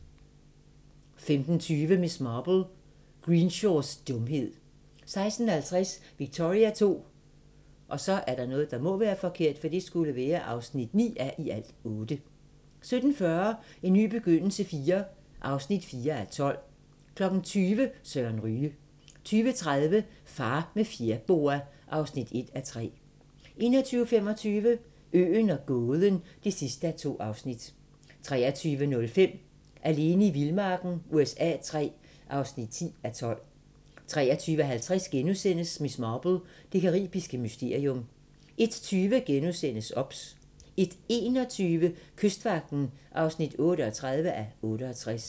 15:20: Miss Marple: Greenshaws dumhed 16:50: Victoria II (9:8) 17:40: En ny begyndelse IV (4:12) 20:00: Søren Ryge 20:30: Far med fjerboa (1:3) 21:25: Øen og gåden (2:2) 23:05: Alene i vildmarken USA III (10:12) 23:50: Miss Marple: Det caribiske mysterium * 01:20: OBS * 01:21: Kystvagten (38:68)